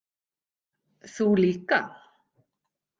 Þú líka.